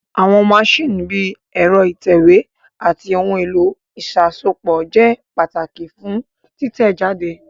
Àwọn maṣíìnì bíi ẹ̀rọ ìtẹ̀wé àti ohun èlò ìṣàsopọ̀ ṣe pàtàkì fún títẹ̀ jáde